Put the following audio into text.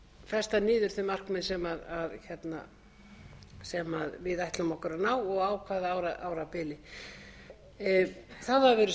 festa niður þau markmið sem við ætlum okkur að ná og á hvaða árabili það hafa verið